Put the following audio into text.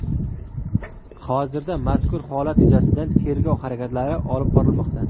Hozirda mazkur holat yuzasidan tergov harakatlari olib borilmoqda.